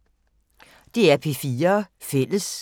DR P4 Fælles